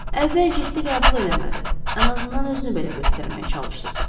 Əvvəl ciddi qəbul eləmədi, ən azından özünü belə göstərməyə çalışdırdı.